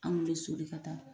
Anw bɛ soli ka taa.